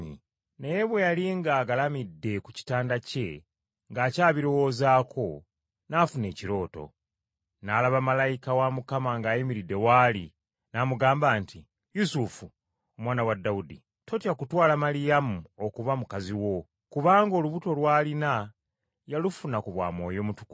Naye bwe yali ng’agalamidde ku kitanda kye ng’akyabirowoozaako, n’afuna ekirooto; n’alaba malayika wa Mukama ng’ayimiridde w’ali, n’amugamba nti, “Yusufu, omwana wa Dawudi, totya kutwala Maliyamu okuba mukazi wo! Kubanga olubuto lw’alina yalufuna ku bwa Mwoyo Mutukuvu.